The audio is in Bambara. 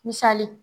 Misali